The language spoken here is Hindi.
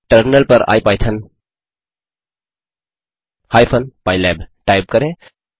टर्मिनल पर इपिथॉन हाइपेन पाइलैब टाइप करें